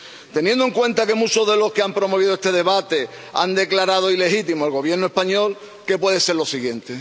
Teniendo en cuenta que muchos de los que han promovido este debate han declarado ilegítimo al Gobierno español, ¿qué puede ser lo siguiente?